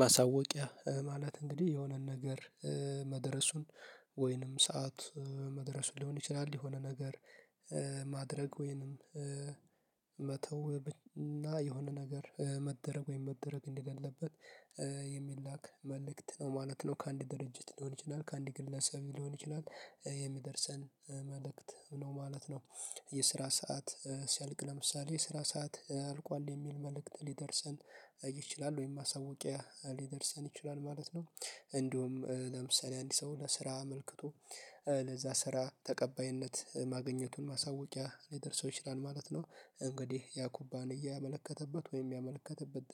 ማሳወቂያ ማለት እንግዲህ የሆነን ነገር መድረሱን ወይንም ሰዓት መድረሱን ሊሆን ይችላል የሆነ ነገር ማድረግ ወይንም መተው እና የሆነ ነገር መደረግ ወይም መደረግ እንደሌለበት የሚላክ መልእክት ነው ማለት ነው። ከአንድ ድርጅት ሊሆን ይችላል ከአንድ ግለሰብ ሊሆን ይችላል የሚደርሰን መልእክት ነው ማለት ነው። የስራ ሰዓት ሲያልቅ ለምሳሌ የስራ ሰዓት አልቋል የሚል መልእክት ሊደርሰን ይችላል ወይም ማሳወቂያ ሊደርሰን ይችላል ማለት ነው። እንዲሁም ለምሳሌ አንድ ሰው ለስራ አመልክቶ ለዛ ስራ ተቀባይነት ማገኘቱን ማሳወቂያ ሊደርሰው ይችላል ማለት ነው። እንግዲህ ያ ኩባንያ ያመለከተበት ወይም ያመለከተበት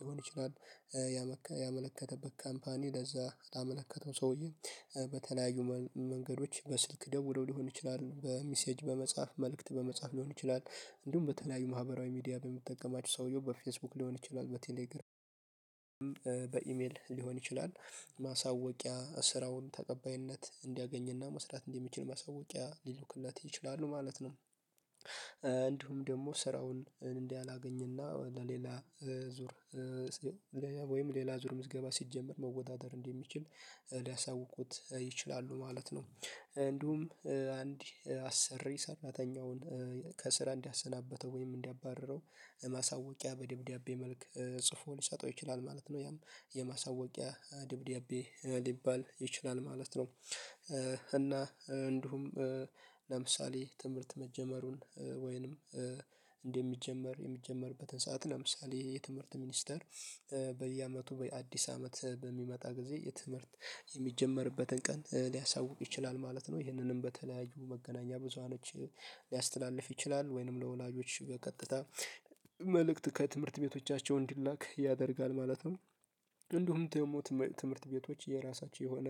ሊሆን ይችላል። ያመለከተበት ካምፓኒ ለዛ ላመለከተው ሰውዬ በተለያዩ መንገዶች በስልክ ደውለው ሊሆን ይችላል በሚሴጅ በመጽሐፍ መልእክት በመጽሐፍ ሊሆን ይችላል። እንዲሁም በተለያዩ ማህበራዊ ሚዲያ በሚጠቀማቸው ሰውየው በፌስቡክ ሊሆን ይችላል በቴሌግራም በኢሜል ሊሆን ይችላል። ማሳወቂያ ስራውን ተቀባይነት እንዲያገኝና መስራት እንደሚችል ማሳወቂያ ሊልኩለት ይችላሉ ማለት ነው። እንዲሁም ደግሞ ስራውን እንዳላገኘና ለሌላ ዙር ወይም ሌላ ዙር ምዝገባ ሲጀመር መወዳደር እንደሚችል ሊያሳውቁት ይችላሉ ማለት ነው። እንዲሁም አንድ አሰሪ ሰራተኛውን ከስራ እንዲያሰናበተው ወይም እንዲያባርረው ማሳወቂያ በደብዳቤ መልክ ጽፎ ሊሰጠው ይችላል ማለት ነው። ያም የማሳወቂያ ደብዳቤ ሊባል ይችላል ማለት ነው። እና እንዲሁም ለምሳሌ ትምህርት መጀመሩን እንደሚጀመር የሚጀመርበትን ሰዓት ለምሳሌ የትምህርት ሚኒስተር በየአመቱ ወይ አዲስ አመት በሚመጣ ጊዜ የትምህርት የሚጀመርበትን ቀን ሊያሳውቅ ይችላል ማለት ነው። ይህንንም በተለያዩ መገናኛ ብዙሃኖች ሊያስተላልፍ ይችላል ወይንም ለወላጆች በቀጥታ መልእክት ከትምህርት ቤቶቻቸው እንዲላክ ያደርጋል ማለት ነው። እንዲሁም ትምህርት ቤቶች የራሳቸው የሆነ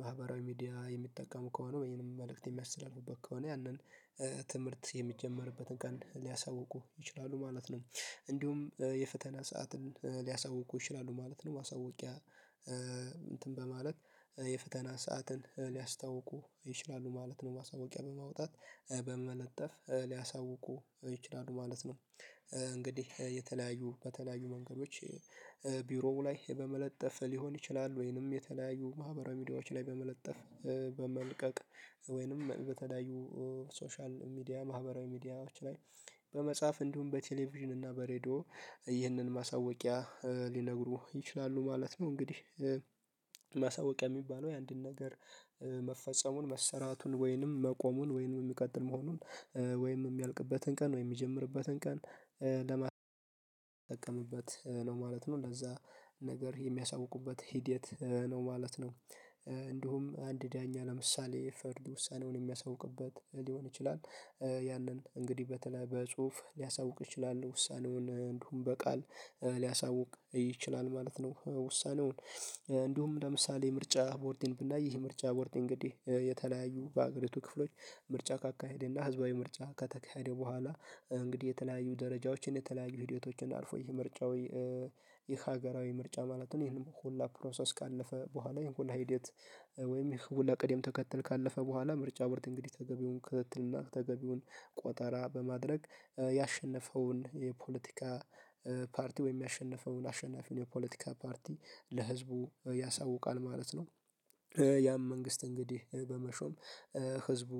ማህበራዊ ሚዲያ የሚጠቀሙ ከሆነ ወይም መልእክት የሚያስተላልፉበት ከሆነ ያንን ትምህርት የሚጀመርበትን ቀን ሊያሳውቁ ይችላሉ ማለት ነው። እንዲሁም የፈተና ሰዓትን ሊያሳውቁ ይችላሉ ማለት ነው። ማሳወቂያ እንትን በማለት የፈተና ሰዓትን ሊያስታውቁ ይችላሉ ማለት ነው። ማሳወቂያ በማውጣት በመለጠፍ ሊያሳውቁ ይችላሉ ማለት ነው። እንግዲህ የተለያዩ በተለያዩ መንገዶች ቢሮው ላይ በመለጠፍ ሊሆን ይችላል ወይንም የተለያዩ ማህበራዊ ሚዲያዎች ላይ በመለጠፍ በመልቀቅ ወይንም በተለያዩ ሶሻል ሚዲያ ማህበራዊ ሚዲያዎች ላይ በመጻፍ እንዲሁም በቴሌቪዥን እና በሬድዮ ይህንን ማሳወቂያ ሊነግሩ ይችላሉ ማለት ነው። እንግዲህ ማሳወቂያ የሚባለው የአንድን ነገር መፈጸሙን መሰራቱን ወይንም መቆሙን ወይንም የሚቀጥል መሆኑን ወይንም የሚያልቅበትን ቀን ወይንም የሚጀምርበትን ቀን ለማስጠቀምበት ነው ማለት ነው ለዛ ነገር የሚያሳውቁበት ሂደት ነው ማለት ነው። እንዲሁም አንድ ዳኛ ለምሳሌ ፍርድ ውሳኔውን የሚያስወቅበት ሊሆን ይችላል ያንን እንግዲህ በተለይ በጽሁፍ ሊያሳውቅ ይችላል ውሳኔውን እንዲሁም በቃል ሊያሳውቅ ይችላል ማለት ነው። ውሳኔውን እንዲሁም ለምሳሌ ምርጫ ቦርድን ብናይ ይህ ምርጫ ቦርድ እንግዲህ የተለያዩ በአገሪቱ ክፍሎች ምርጫ ካካሄደና ህዝባዊ ምርጫ ከተካሄደ በኋላ እንግዲህ የተለያዩ ደረጃዎችን የተለያዩ ሂደቶችን አልፎ ይህ ምርጫው የሀገራዊ ምርጫ ማለት ነው። ይሄንም ሁላ ፕሮሰስ ካለፈ በኋላ ይሄን ሁላ ሂደት ወይም ይሄን ሁላ ቅድም ተከተል ካለፈ በኋላ ምርጫ ወርድ እንግዲህ ተገቢውን ክትትልና ተገቢውን ቆጠራ በማድረግ ያሸነፈውን የፖለቲካ ፓርቲ ወይም ያሸነፈውን አሸናፊውን የፖለቲካ ፓርቲ ለህዝቡ ያሳውቃል ማለት ነው። ያም መንግስት እንግዲህ በመሾም ህዝቡ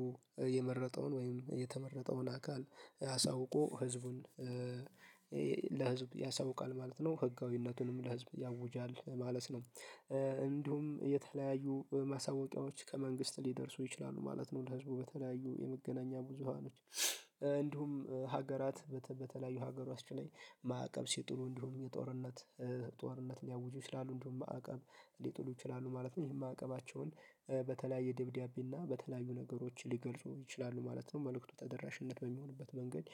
የመረጠውን ወይም የተመረጠውን አካል አሳውቆ ህዝቡን ለህዝብ ያሳውቃል ማለት ነው ህጋዊነቱንም ለህዝብ ያውጃል ማለት ነው። እንዲሁም የተለያዩ ማሳወቂያዎች ከመንግስት ሊደርሱ ይችላሉ ማለት ነው። ለህዝቡ በተለያዩ የመገናኛ ብዙሃኖች እንዲሁም ሀገራት በተለያዩ ሀገሮች ላይ ማዕቀብ ሲጥሉ እንዲሁም የጦርነት ጦርነት ሊያውጁ ይችላሉ እንዲሁም ማዕቀብ ሊጥሉ ይችላሉ ማለት ነው። ይሄም ማዕቀባቸውን በተለያየ ደብዳቤና በተለያዩ ነገሮች ሊገልጹ ይችላሉ ማለት ነው። መልእክቱ ተደራሽነት በሚሆንበት መንገድ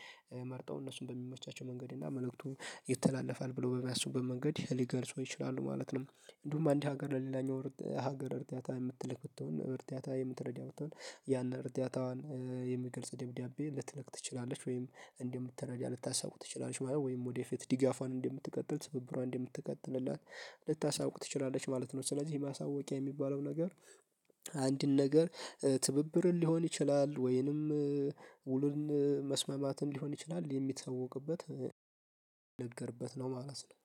መርጠው እነሱን በሚመቻቸው መንገድ እና መልእክቱን ይተላለፋል ብለው በሚያስቡበት መንገድ ሊገልጹ ይችላሉ ማለት ነው። እንዲሁም አንድ ሀገር ለሌላኛው ሀገር እርዳታታ የምትልክ ብትሆን እርዳታታ የምትረዳ ብትሆን ያን እርዳታዋን የሚገልጽ ደብዳቤ ልትልክ ትችላለች ወይም እንደምትረዳ ልታሳውቅ ትችላለች ማለት ወይም ወደፊት ድጋፏን እንደምትቀጥል ትብብሯን እንደምትቀጥል እና ልታሳውቅ ትችላለች ማለት ነው። ስለዚህ ማሳወቂያ የሚባለው ነገር አንድን ነገር ትብብርን ሊሆን ይችላል ወይንም ውሉን መስመማትን ሊሆን ይችላል የሚተውቅበት የሚነገርበት ነው ማለት ነው።